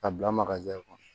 A bila kɔnɔ